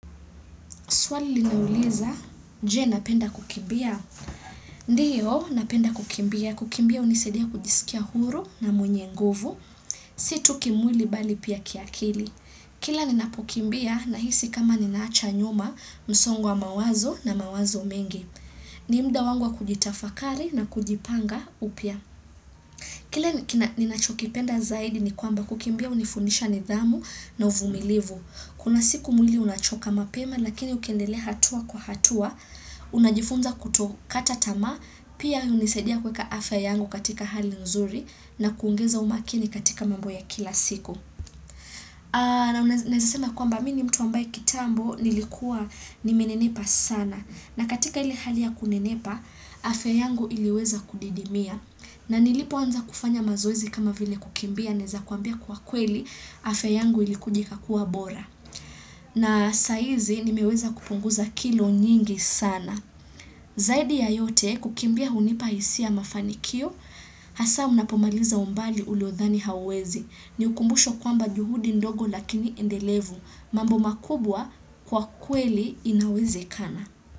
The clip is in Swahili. Suali linauliza, jee napenda kukimbia. Ndiyo, napenda kukimbia. Kukimbia unisadia kujisikia huru na mwenye nguvu. Situki mwili bali pia kiakili. Kila ninapokimbia na hisi kama ninaacha nyuma msongo wa mawazo na mawazo mengi. Nimda wangu kujitafakari na kujipanga upia. Kila nina chokipenda zaidi ni kwamba kukimbia unifunisha nidhamu na uvumilivu. Kuna siku mwili unachoka mapema lakini ukiwndelea hatua kwa hatua, unajifunza kutokata tamaa, pia unisadia kweka afe yangu katika hali nzuri na kuungeza umakini katika mambo ya kila siku. Na unazesema kwa mbamini mtu ambaye kitambo nilikuwa ni menenepa sana na katika ile hali ya kunenepa afia yangu iliweza kudidimia na nilipo anza kufanya mazoezi kama vile kukimbia neza kuambia kwa kweli afia yangu ilikuja ikakua bora. Na saizi nimeweza kupunguza kilo nyingi sana. Zaidi ya yote kukimbia unipahisia.ya mafanikio, hasa unapomaliza umbali uliodhani hauwezi. Ni ukumbusho kwamba juhudi ndogo lakini endelevu. Mambo makubwa kwa kweli inawezekana.